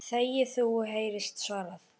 Þegi þú! heyrist svarað.